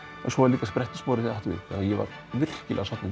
en svo var líka sprett úr spori þegar átti við ég var virkilega sáttur